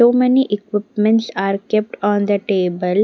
So many equipments are kept on the table.